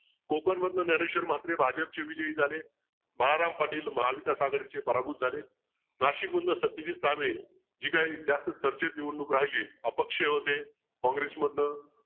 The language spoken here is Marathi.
कोकणमधन ज्ञानेश्वर म्हात्रे भाजपचे विजयी झाले. बाळाराम पाटील महाविकास आघाडीचे पराभूत झाले. नाशिकमधन सत्यजित चाबळे जे काही जास्त चर्चेत निवडणूक राहिली अपक्ष होते. काँग्रेस मधनं.